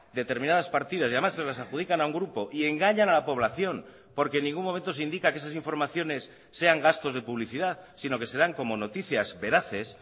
determinadas partidas y además se las adjudican a un grupo y engañan a la población porque en ningún momento se indica que esas informaciones sean gastos de publicidad sino que se dan como noticias veraces